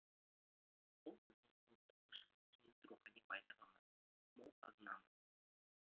бұл біздің ұлттық ұшаң теңіз рухани байлығымыз мол қазынамыз